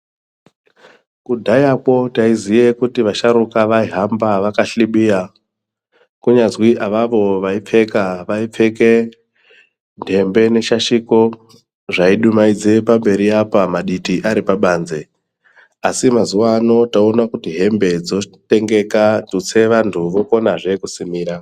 Kudhayakwo taiziye kuti vasharuka vaihamba vakahlibiya ,kunyazi avavo vaipfeka, vaipfeke ntembe neshashiko, zvaidumaidze pamberi apa maditi ari pabanze, asi mazuwaano taone kuti hembe dzotengeka ,tutse vantu vokonazve kusimira.